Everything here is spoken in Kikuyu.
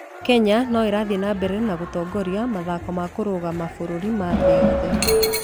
Kenya no ĩrathiĩ na mbere na gũtongoria mathako ma kũrũga mabũrũri ma thĩ yothe.